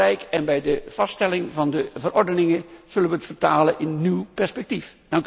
Het is heel belangrijk en bij de vaststelling van de verordeningen zullen we het vertalen in nieuw perspectief.